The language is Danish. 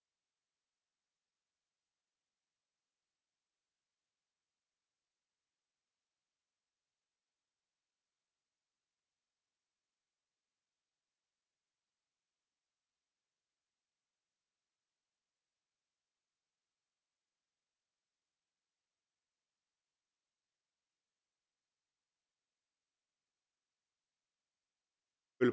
to